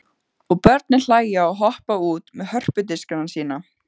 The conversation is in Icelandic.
Og börnin hlæja og hoppa út með hörpudiskana sína.